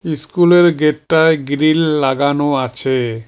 ইস্কুলের গেটটায় গ্রীল লাগানো আছে।